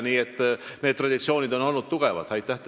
Nii et need traditsioonid on meil tugevad olnud.